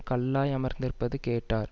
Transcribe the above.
கல்லாய் அமர்ந்திருப்பது கேட்டார்